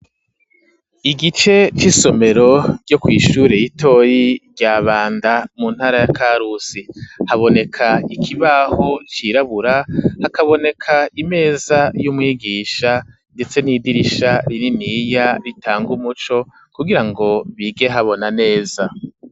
Igice c'isomero ryo kw'ishure ritoyi rya Banda mu ntara ya Karusi, haboneka ikibaho cirabura, hakaboneka imeza y'umwigisha, ndetse n'idirisha rininiya ritanga umuco kugira ngo bige habona neza.